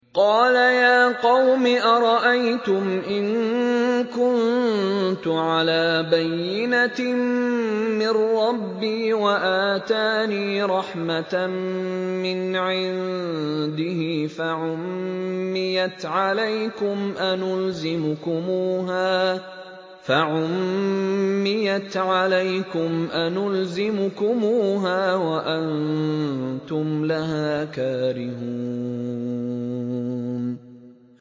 قَالَ يَا قَوْمِ أَرَأَيْتُمْ إِن كُنتُ عَلَىٰ بَيِّنَةٍ مِّن رَّبِّي وَآتَانِي رَحْمَةً مِّنْ عِندِهِ فَعُمِّيَتْ عَلَيْكُمْ أَنُلْزِمُكُمُوهَا وَأَنتُمْ لَهَا كَارِهُونَ